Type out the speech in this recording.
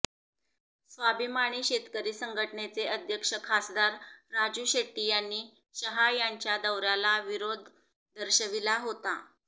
स्वाभिमानी शेतकरी संघटनेचे अध्यक्ष खासदार राजू शेट्टी यांनी शहा यांच्या दौऱ्याला विरोध दर्शविला होता